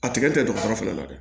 A tigɛ tɛ dɔgɔtɔrɔ fana la dɛ